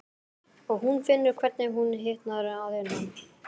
Og hún finnur hvernig hún hitnar að innan.